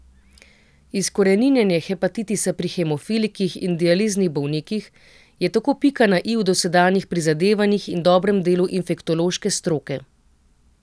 Izkoreninjenje hepatitisa pri hemofilikih in dializnih bolnikih je tako pika na i v dosedanjih prizadevanjih in dobrem delu infektološke stroke.